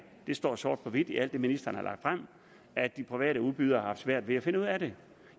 det står sort på hvidt i alt det ministeren har lagt frem at de private udbydere har haft svært ved at finde ud af det